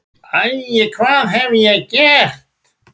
Æ, hvað hef ég gert?